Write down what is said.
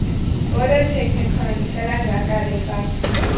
border technikon fela jaaka lefapha